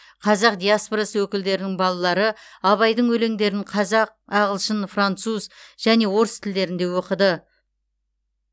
қазақ диаспорасы өкілдерінің балалары абайдың өлеңдерін қазақ ағылшын француз және орыс тілдерінде оқыды